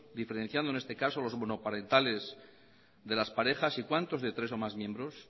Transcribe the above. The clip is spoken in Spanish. diferenciando en este caso los monoparentales de las parejas y cuántos de tres o de más miembros